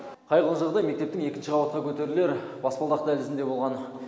қайғылы жағдай мектептің екінші қабатқа көтерілер баспалдақ дәлізінде болған